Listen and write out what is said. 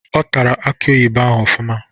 Ọ tara aki oyibo ahụ ofụma